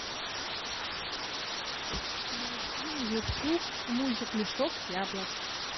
найди на ютуб мультик мешок яблок